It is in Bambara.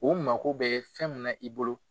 O mako bɛ fɛn mun na i bolo.